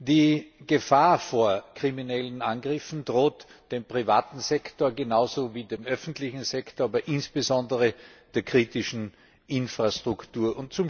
Die Gefahr von kriminellen Angriffen droht dem privaten Sektor genauso wie dem öffentlichen Sektor, aber insbesondere der kritischen Infrastruktur.